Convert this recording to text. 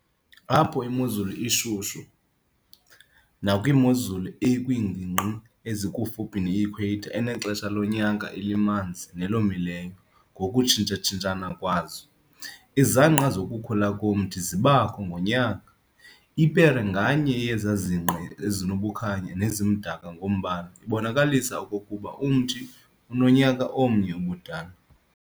Apho imozulu ishushu, nakwimozulu ekwiingingqi ezikufuphi neEquator enexesha lonyaka elimanzi-nelomileyo ngokutshintshatshintshana kwazo, izangqa zokukhula komthi zibakho ngonyaka, ipere nganye yezazinge ezibukhanya nezimdaka ngombala ibonakalisa okokuba umthi unonyaka omnye ubudala.